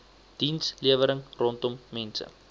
dienslewering rondom mense